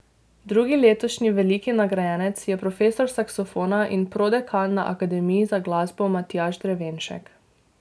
Drugi letošnji veliki nagrajenec je profesor saksofona in prodekan na Akademiji za glasbo Matjaž Drevenšek.